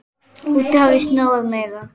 Úti hafði snjóað meira.